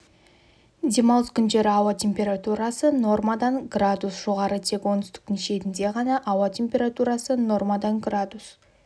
демалыс күндері ауа температурасы нормадан градус жоғары тек оңтүстіктің шетінде ғана ауа температурасы нормадан градус